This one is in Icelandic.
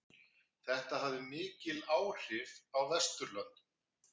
Þetta hafði mikil áhrif á Vesturlöndum.